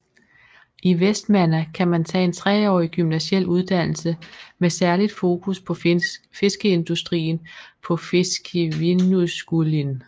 I Vestmanna kan man tage en treårig gymnasial uddannelse med særligt fokus på fiskeindustrien på Fiskivinnuskúlin